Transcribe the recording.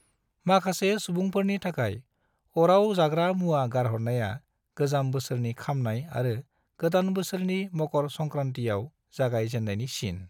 माखासे सुबुफोरनि थाखाय, अराव जाग्रा मुआ गारहरनाया गोजाम बोसोरनि खामनाय आरो गोदान बोसोरनि मकर संक्रांतिआव जागाय जेननायनि सिन।